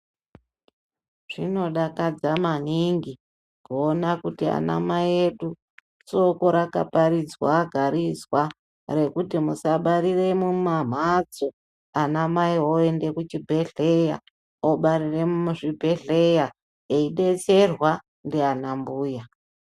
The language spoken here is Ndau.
Zvinodakadza maningi kuona kuti ana Mai edu tsoko rakaparidzwa akarizwa rekuti misabarire mumamhatso ana Mai oende kuchibhedhlera obarire muzvibhodhlera edetserwa ndiana mbuya.